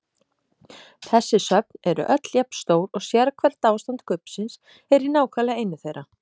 Þessi söfn eru öll jafn stór og sérhvert ástand kubbsins er í nákvæmlega einu þeirra.